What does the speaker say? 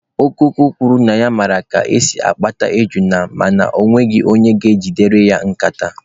Okụkụ kwuru na ya mara ka esi akpata ejuna mana ọ hụghị onye ga-ejidere ya nkata.